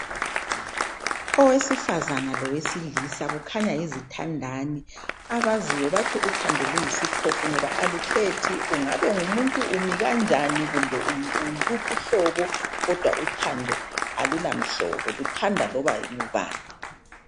Owesifazane lowesilisa kukhanya yizithandanani abaziyo bathi uthando luyisiphofu ngoba alukhethi ungabe ungumuntu umikanjani kumbe unguluphi uhlobo kodwa uthando alula mhlobo luthanda lobangubani